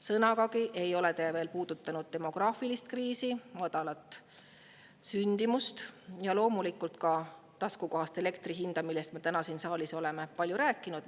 Sõnagagi ei ole te veel puudutanud demograafilist kriisi, madalat sündimust ja loomulikult ka taskukohast elektri hinda, millest me täna siin saalis oleme palju rääkinud.